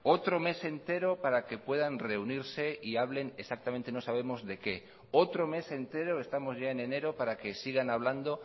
otro mes entero para que puedan reunirse y hablen exactamente no sabemos de qué otro mes entero estamos ya en enero para que sigan hablando